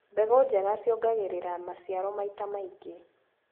Mbegũ njega ciongagĩrĩra maciaro maita maingĩ.